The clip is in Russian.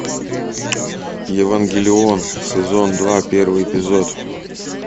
евангелион сезон два первый эпизод